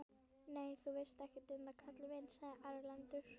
Nei, þú veist ekkert um það kallinn minn, sagði Erlendur.